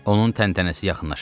Onun təntənəsi yaxınlaşırdı.